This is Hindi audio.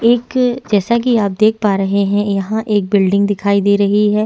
एक जैसा की आप देख पा रहे है यहाँ एक बिल्डिंग दिखाई दे रही है।